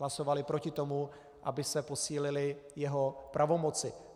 Hlasovali proti tomu, aby se posílily jeho pravomoci.